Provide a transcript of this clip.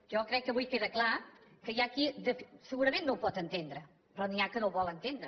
jo crec que avui queda clar que hi ha qui segurament no ho pot entendre però n’hi ha que no ho vol entendre